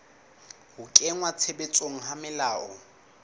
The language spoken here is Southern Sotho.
ho kenngwa tshebetsong ha melao